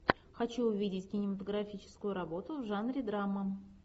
хочу увидеть кинематографическую работу в жанре драма